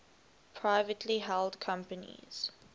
privately held companies